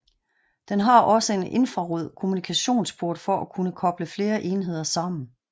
Den har også en infrarød kommunikationsport for at kunne koble flere enheder sammen